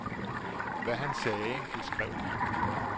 Hvad han sagde, det skrev vi.